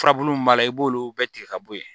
Furabulu min b'a la i b'olu bɛɛ tigɛ ka bɔ yen